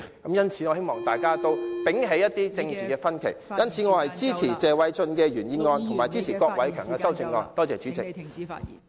我希望大家摒棄政治分歧......因此，我支持謝偉俊議員的原議案及郭偉强議員的修正案。